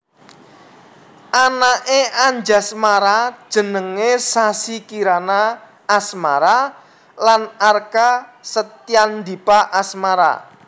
Anaké Anjasmara jenengé Sassi Kirana Asmara lan Arka Setyaandipa Asmara